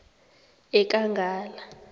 ekangala